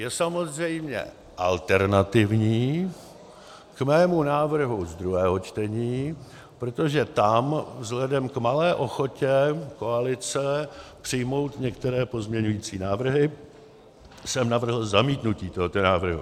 Je samozřejmě alternativní k mému návrhu z druhého čtení, protože tam vzhledem k malé ochotě koalice přijmout některé pozměňující návrhy jsem navrhl zamítnutí tohoto návrhu.